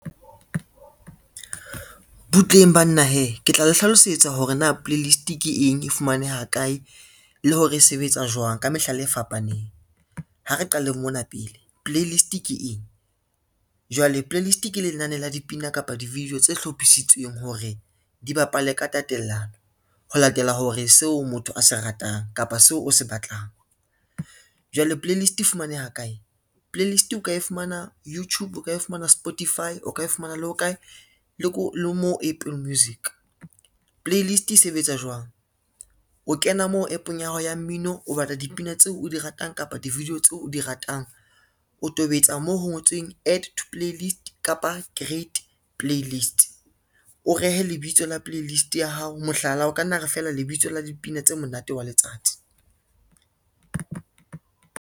Butleng banna hee, ke tla le hlalosetsa hore na playlist ke eng, e fumaneha kae le hore e sebetsa jwang ka mehlala e fapaneng. Ha re qale mona pele, playlist ke eng? Jwale playlist ke lenane la dipina kapa di-video tse hlophisitsweng hore di bapale ka tatellano ho latela hore seo motho a se ratang kapa seo o se batlang. Jwale playlist e fumaneha kae, playlist o ka e fumana Youtube, o ka e fumana Spotify, o ka e fumana le ho kae le mo Apple Music. Playlist e sebetsa jwang, o kena mo app-ong ya hao ya mmino o batla dipina tseo o di ratang kapa di-video tseo o di ratang, o tobetsa moo ho ngotsweng add to playlist kapa create playlist, o rehe lebitso la playlist ya hao, mohlala o ka nna re fela lebitso la dipina tse monate wa letsatsi.